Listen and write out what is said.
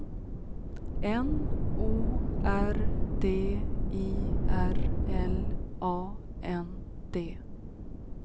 N O R D I R L A N D